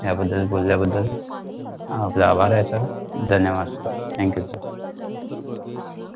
याबद्दल बोलल्याबद्दल आपले आभार आहे sir धन्यवाद sir thank you sir